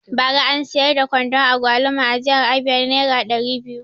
Bara an siyar da kwandon agwaluma a jihar abia nera ɗari biyu